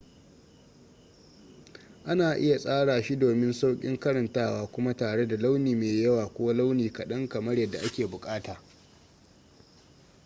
ana iya tsara shi domin saukin karantawa kuma tare da launi mai yawa ko launi kadan kamar yadda ake bukata